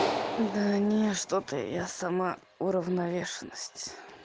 да не что-то я сама уравновешенность